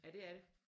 Ja det er det